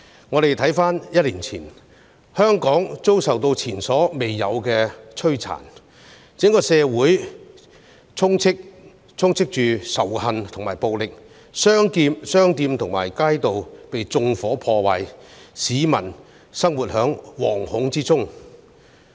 我們回看一年前，香港遭受前所未有的摧殘，整個社會充斥着仇恨和暴力，商店和街道被縱火、破壞，市民生活在惶恐之中。